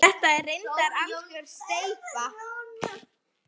Þetta er reyndar algjör steypa.